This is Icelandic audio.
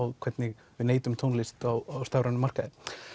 hvernig við neytum tónlist á stafrænum markaði